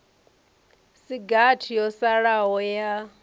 si gathi yo salaho ya